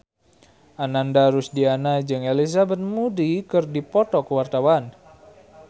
Ananda Rusdiana jeung Elizabeth Moody keur dipoto ku wartawan